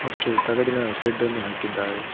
ಮತ್ತು ತಗಡಿನ ಶೇಡ್ ಅನ್ನು ಹಾಕಿದ್ದಾರೆ.